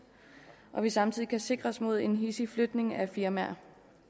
og vi samtidig kan sikres mod en hidsig flytning af firmaer